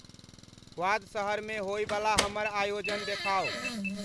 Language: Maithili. क्वाद शहर मे होइ बला हमर आयोजन देखाऊ